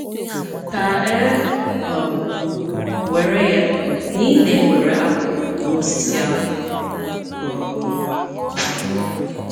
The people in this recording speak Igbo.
Ka e um were ya na ị na-ewere apụl n'osisi apụl. um